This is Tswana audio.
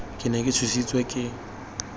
ke ne ke tshositswe ke